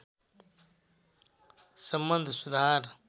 सम्बन्ध सुधार